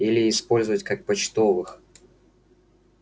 или использовать как почтовых